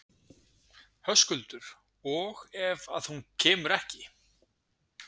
Höskuldur: Og ef að hún kemur ekki?